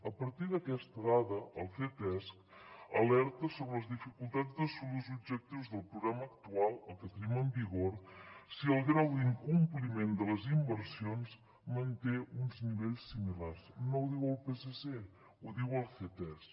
a partir d’aquesta dada el ctesc alerta sobre les dificultats d’assolir els objectius del programa actual el que tenim en vigor si el grau d’incompliment de les inversions manté uns nivells similars no ho diu el psc ho diu el ctesc